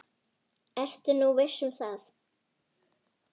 Ertu nú viss um það?